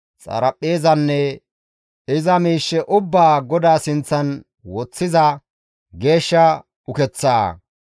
xaraphpheezanne iza miishshe ubbaa GODAA sinththan woththiza geeshsha ukeththaa,